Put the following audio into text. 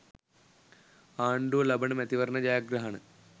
ආණ්ඩුව ලබන මැතිවරණ ජයග්‍රහණ